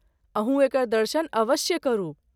अहूँ एकर दर्शन अवश्य करू।